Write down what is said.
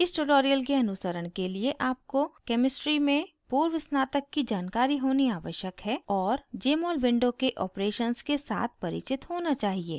इस tutorial के अनुसरण के लिए आपको chemistry में पूर्वस्नातक की जानकारी होनी आवश्यक है और jmol window के operations के साथ परिचित होना चाहिए